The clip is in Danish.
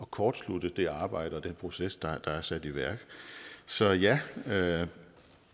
kortslutte det arbejde og den proces der er sat i værk så ja ja